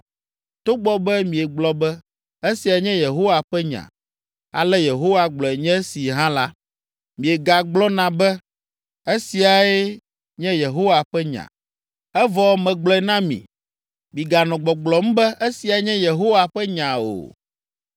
Togbɔ be miegblɔ be, ‘Esiae nye Yehowa ƒe nya, ale Yehowa gblɔe nye esi’ hã la, miegagblɔna be, ‘Esiae nye Yehowa ƒe nya,’ evɔ megblɔe na mi, miganɔ gbɔgblɔm be, ‘Esiae nye Yehowa ƒe nya’ o.